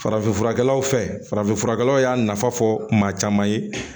Farafinfurakɛlaw fɛ farafin furakɛlaw y'a nafa fɔ maa caman ye